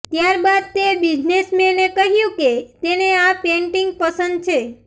ત્યારબાદ તે બિઝનેસમેન એ કહ્યું કે તેને આ પેન્ટિંગ પસંદ છે